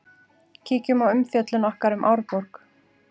Kíkjum á umfjöllun okkar um Árborg.